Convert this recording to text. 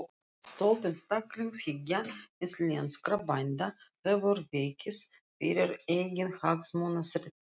Stolt einstaklingshyggja íslenskra bænda hefur vikið fyrir eiginhagsmunastreitu.